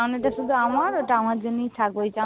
ওই চাউনিটা শুধু আমার। ওটা আমার জন্যই থাকবে।